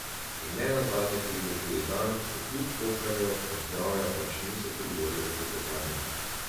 In ne nazadnje pride tudi dan, ko kljub pokanju od zdravja pač niso pri volji za klepetanje.